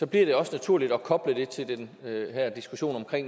det også naturligt at koble det til den her diskussion om